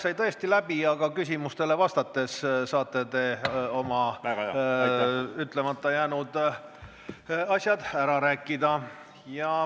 Aeg sai tõesti läbi, aga küsimustele vastates saate te oma ütlemata jäänud asjad ära rääkida.